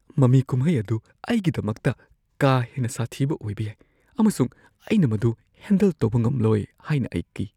ꯃꯃꯤ ꯀꯨꯝꯍꯩ ꯑꯗꯨ ꯑꯩꯒꯤꯗꯃꯛꯇ ꯀꯥ ꯍꯦꯟꯅ ꯁꯥꯊꯤꯕ ꯑꯣꯏꯕ ꯌꯥꯏ ꯑꯃꯁꯨꯡ ꯑꯩꯅ ꯃꯗꯨ ꯍꯦꯟꯗꯜ ꯇꯧꯕ ꯉꯝꯂꯣꯏ ꯍꯥꯏꯅ ꯑꯩ ꯀꯤ꯫